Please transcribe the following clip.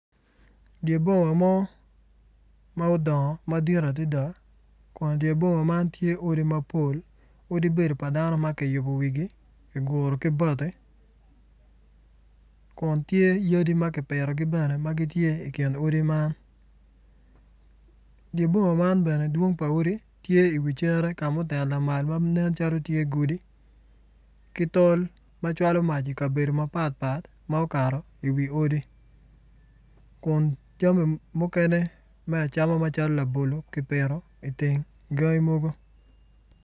Dye boma mo ma odongo madit adada kun dye boma man tye odi mapol odi bedo pa dano ma kiyubo wigi kiguro ki bati kun tye yadi ma kipitogi bene ma tye i kin odi man dye boma man bene dwong pa odi ttye iwi cere ka ma oten lamal ma nen calo tye godi ki tol ma cwalo mac ikabedo mapatpat ma okato iwi odi kun jami mukene me acama macalo labolo kipito iteng gangi mogo.